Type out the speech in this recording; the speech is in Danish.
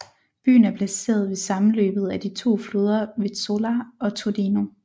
Byen er placeret ved sammenløbet af de to floder Vezzola og Tordino